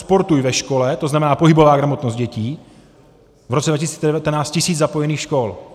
Sportuj ve škole, to znamená pohybová gramotnost dětí, v roce 2019 tisíc zapojených škol.